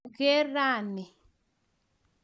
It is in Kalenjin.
Mageer rani